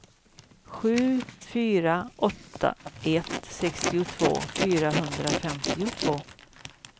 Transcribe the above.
sju fyra åtta ett sextiotvå fyrahundrafemtiotvå